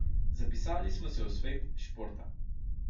Zapisali smo se v svet športa.